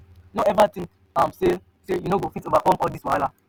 no eva tink am sey sey you no fit overcome all dis wahala.